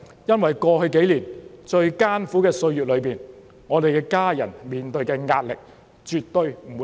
因為在過去數年最艱苦的歲月中，我們的家人面對的壓力絕對不會比議員少。